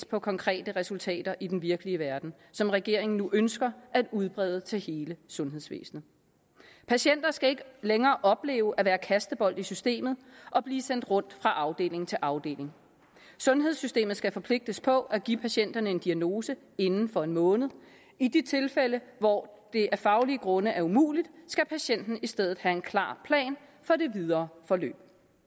på konkrete resultater i den virkelige verden som regeringen nu ønsker at udbrede til hele sundhedsvæsenet patienter skal ikke længere opleve at være kastebold i systemet og blive sendt rundt fra afdeling til afdeling sundhedssystemet skal forpligtes på at give patienterne en diagnose inden for en måned og i de tilfælde hvor det af faglige grunde er umuligt skal patienten i stedet have en klar plan for det videre forløb